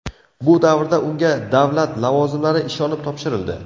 Bu davrda unga davlat lavozimlari ishonib topshirildi.